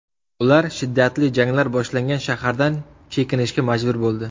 Ular shiddatli janglar boshlangan shahardan chekinishga majbur bo‘ldi.